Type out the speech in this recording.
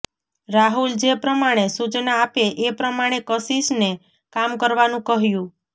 રાહુલ જે પ્રમાણે સૂચના આપે એ પ્રમાણે કશિશને કામ કરવાનું કહ્યું